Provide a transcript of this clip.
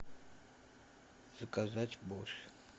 заказать борщ